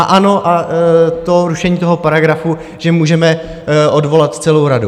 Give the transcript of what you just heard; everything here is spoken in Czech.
A ano a to rušení toho paragrafu, že můžeme odvolat celou radu.